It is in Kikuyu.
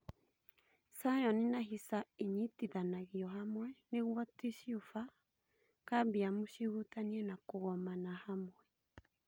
Scion na hisa inyitithanagio hamwe nĩguo tishubya kambium cihutanie na kũgomana hamwe